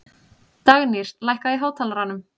Dagnýr, lækkaðu í hátalaranum.